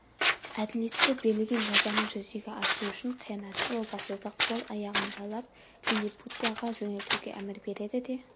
әділетті берілген жазаны жүзеге асыру үшін қиянатшыл опасызды қол-аяғын байлап лиллипутияға жөнелтуге әмір береді де